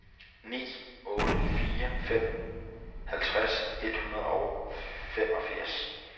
ni otte fire fem halvtreds et hundrede og femogfirs